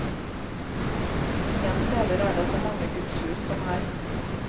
Ingen steder er det så mange gudshus som her.